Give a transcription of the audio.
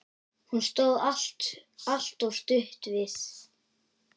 Hún stóð alltaf stutt við.